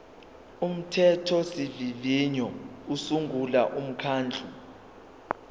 umthethosivivinyo usungula umkhandlu